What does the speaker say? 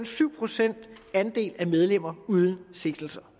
syv procent af medlemmerne uden sigtelser